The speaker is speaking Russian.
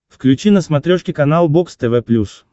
включи на смотрешке канал бокс тв плюс